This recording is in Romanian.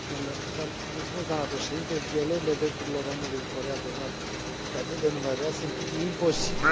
Violările drepturilor omului în Coreea de Nord sunt atât de numeroase, încât e imposibil să realizăm o listă completă.